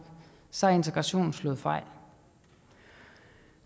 så er integrationen slået fejl